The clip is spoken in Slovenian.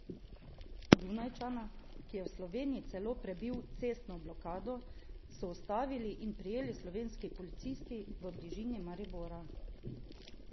Dunajčana, ki je v Sloveniji celo prebil cestno blokado, so ustavili in prijeli slovenski policisti v bližini Maribora.